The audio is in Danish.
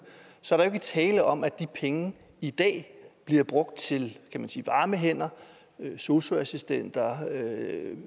så er der jo ikke tale om at de penge i dag bliver brugt til varme hænder sosu assistenter